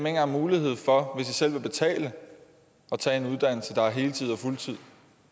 engang mulighed for de selv vil betale at tage en uddannelse der er på heltid og fuldtid